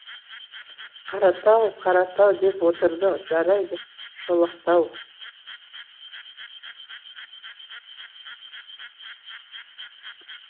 қаратау қаратау деп отырды жарайды шолақтау